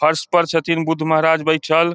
फर्श पर छथिन बुद्ध महाराज बैठल।